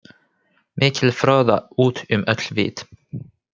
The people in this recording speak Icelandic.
Mikil froða út um öll vit.